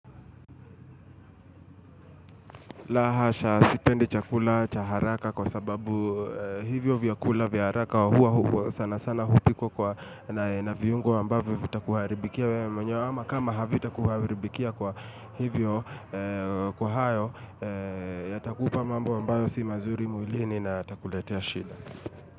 La hasha sipendi chakula, cha haraka kwa sababu hivyo vyakula vya haraka huwa sana sana hupwa kwa na viungo ambavyo vitakuharibikia wewe mwenyewe ama kama havitakuharibikia kwa hivyo kwa hayo yatakupa mambo ambayo si mazuri mwilini na yatakuletea shida.